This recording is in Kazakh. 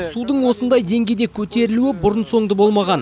судың осындай деңгейде көтерілуі бұрын соңды болмаған